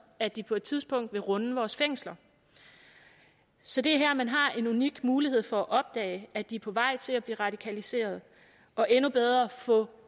at de på et tidspunkt vil runde vores fængsler så det er her man har en unik mulighed for at opdage at de er på vej til at blive radikaliseret og endnu bedre at få